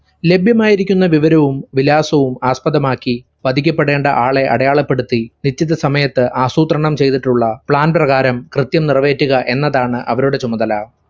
ലാഭ്യമായിരിക്കുന്ന വിവരവും വിലാസവും ആസ്പദമാക്കി പതിക്കപ്പെടേണ്ട ആളെ അടയാളപ്പെടുത്തി നിശ്ചിത സമയത്ത് ആസൂത്രണം ചെയ്തിട്ടുള്ള plan പ്രകാരം കൃത്യം നിറവേറ്റുക എന്നതാണ് അവരുടെ ചുമതല.